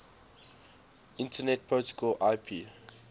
internet protocol ip